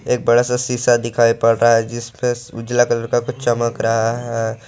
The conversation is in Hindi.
एक बड़ा सा शीशा दिखाई पड़ रहा है जिसपे उजला कलर का कुछ चमक रहा है।